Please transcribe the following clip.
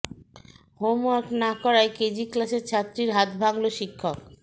homework না করায় KG ক্লাসের ছাত্রীর হাত ভাঙল শিক্ষক